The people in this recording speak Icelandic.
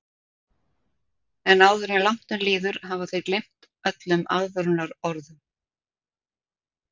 En áður en langt um líður hafa þeir gleymt öllum aðvörunarorðum.